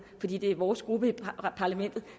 fordi det er vores gruppe i parlamentet